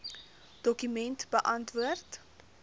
dokument beantwoord